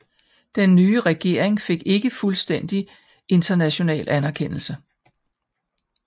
Den nye regering fik ikke fuldstændig international anerkendelse